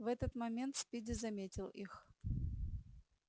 в этот момент спиди заметил их